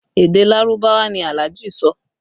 Èdè Lárúbáwá ni Alhaji sọ